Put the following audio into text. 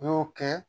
U y'o kɛ